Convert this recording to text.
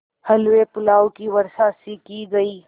हलवेपुलाव की वर्षासी की गयी